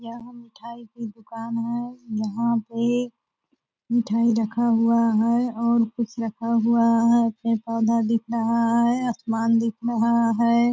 यह मिठाई के दुकान है यहाँ पे मिठाई रखा हुआ है और कुछ रखा हुआ है पेड़-पौधा दिख रहा है आसमान दिख रहा है।